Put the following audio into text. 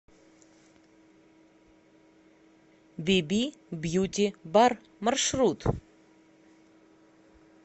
биби бьюти бар маршрут